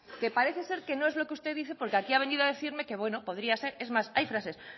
que parece ser que no es lo que usted dice porque aquí ha venido a decirme que bueno podría ser es más hay frases